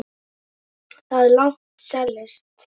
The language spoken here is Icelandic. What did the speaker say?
Þar er langt seilst.